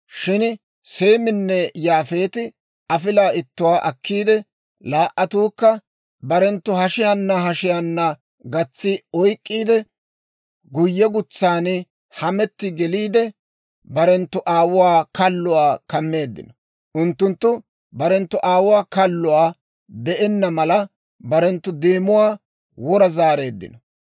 Shin Seeminne Yaafeeti afilaa ittuwaa akkiide, laa"attukka barenttu hashiyaana hashiyaana gatsi oyk'k'iide, guyyegutsaan hametti geliide, barenttu aawuwaa kalluwaa kammeeddino; unttunttu barenttu aawuwaa kalluwaa be'enna mala barenttu deemuwaa wora zaareeddino.